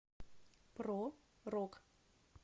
про рок